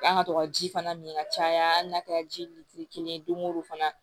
An ka to ka ji fana min ka caya hali n'a kɛra jiri kelen ye don o don fana